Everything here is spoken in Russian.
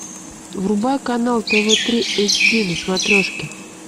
врубай канал тв три эйч ди на смотрешке